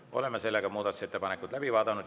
Oleme muudatusettepanekud läbi vaadanud.